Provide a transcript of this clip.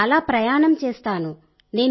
నేను చాలా ప్రయాణం చేస్తాను